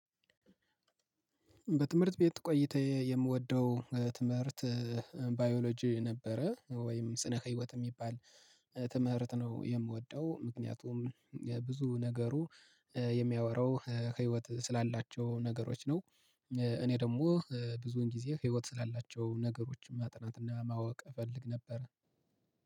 በትምህርት ቤት ቆይታዬ የምወደው ትምህርት ባዮሎጂ ነበረ ወይም ስነ ህይወት የሚባል ትምህርት ነው የምወደው ምክንያቱም ብዙ ነገሩ የሚያወራው ከህይወት ስላላቸው ነገሮች ነው። እኔ ደግሞ ብዙን ጊዜ ህይወት ስላላቸው ነገሮችን ማጥናት እና ማወቅ እፈልግ ነበር